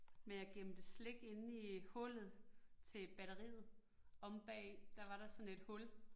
Men jeg gemte slik inde i hullet til batteriet omme bag i, der var der sådan et hul